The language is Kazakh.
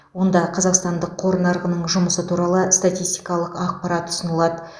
онда қазақстандық қор нарығының жұмысы туралы статистикалық ақпарат ұсынылады